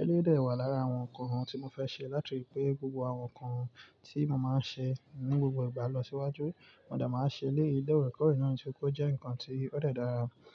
Eleyi de wà lára àwọn ǹkan tí mo fẹ́ ṣe látirí pé gbogbo àwọn ǹkan tí mo máa ń ṣe ní gbogbo ìgbà lọ síwájú, mo dà máa n ṣe eléyi lorekọ̀rẹ̀ kọ́rì náà nitori pe ó jẹ́ nǹkan tí ó de dára.